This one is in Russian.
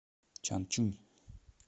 чанчунь